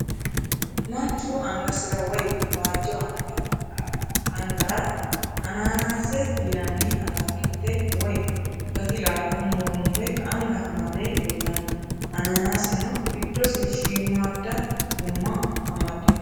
Manchu angasira woyi waajjo angara anaanaase yinanni ataakilte woyi gati laalo murmure anga amade leellanno. Anaanaaseno giddose shiimaadda gumma amaddino.